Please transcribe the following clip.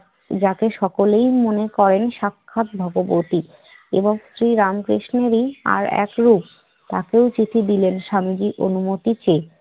যাকে সকলেই মনে করেন সাক্ষাৎ ভাগবতী এবং শ্রীরাম কৃষ্ণেরই আরেক রূপ। তাকেও চিঠি দিলেন স্বামীজী অনুমতি চেয়ে